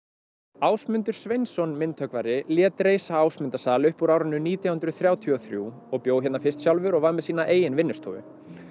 Ásmundur Sveinsson myndhöggvari lét reisa Ásmundarsal upp úr nítján hundruð þrjátíu og þrjú og bjó hérna fyrst sjálfur og var með sína eigin vinnustofu